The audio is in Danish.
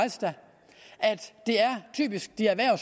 det typisk er